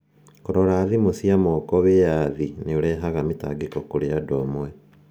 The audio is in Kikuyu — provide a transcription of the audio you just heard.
Kũrora thimũ cia moko Wĩyathi nĩ ũrehaga mĩtangĩko kũrĩ andũ amwe.